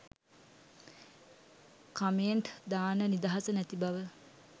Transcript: comment දාන්න නිදහස නැති බව